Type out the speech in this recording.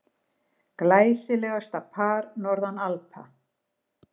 Glæsilegasta par norðan Alpa.